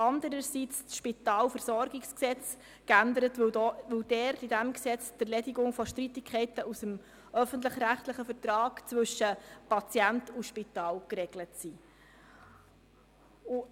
Andererseits wird das SpVG geändert, da in diesem Gesetz die Erledigung von Streitigkeiten aus dem öffentlich-rechtlichen Vertrag zwischen Patient und Spital geregelt ist.